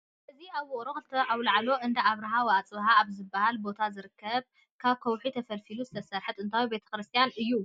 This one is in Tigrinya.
እዚ ኣብ ውቕሮ ክልተ ኣውላዕሎ እንዳ ኣብርሃ ወኣፅብሃ ኣብ ዝበሃል ቦታ ዝርከብ ካብ ከውሒ ተፈልፊሉ ዝተሰርሓ ጥንታዊ ቤተ ክርስቲያን እዩ፡፡